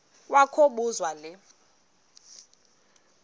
kwa kobuzwa le